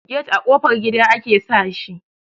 get a ƙofar gida ake sa shi